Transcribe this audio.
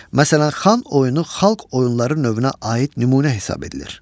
Məsələn, Xan oyunu xalq oyunları növünə aid nümunə hesab edilir.